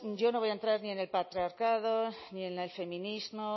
yo no voy a entrar ni en el patriarcado ni el feminismo